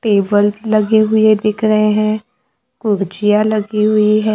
Table लगे हुए दिख रहे हैं लगी हुई है।